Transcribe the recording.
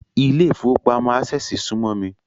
Ilé ìfowópamọ́ Ásẹ̀sì súmọ́ mi